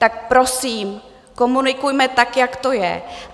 Tak prosím, komunikujme tak, jak to je.